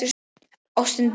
Ástin deyr.